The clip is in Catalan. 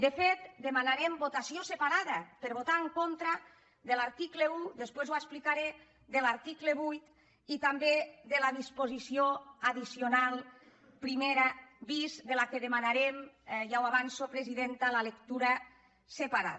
de fet demanarem votació separada per votar en contra de l’article un després ho explicaré de l’article vuit i també de la disposició addicional primera bis de la qual demanarem ja ho avanço presidenta la lec·tura separada